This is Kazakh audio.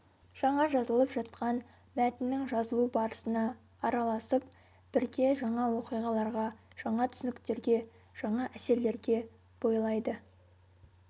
жаңа жазылып жатқан мәтіннің жазылу барысына араласып бірге жаңа оқиғаларға жаңа түсініктерге жаңа әсерлерге бойлайды